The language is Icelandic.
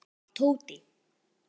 Það var Tóti.